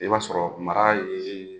I b'a sɔrɔ mara ye